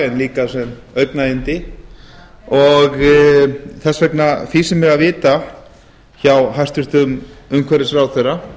en líka sem augnayndi þess vegna fýsir mig að vita hjá hæstvirtur umhverfisráðherra í